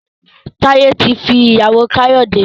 Taye tí fí ìyàwó Kayode.